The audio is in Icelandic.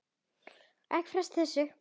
Ekki fresta þessu